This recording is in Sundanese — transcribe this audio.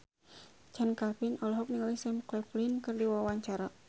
Chand Kelvin olohok ningali Sam Claflin keur diwawancara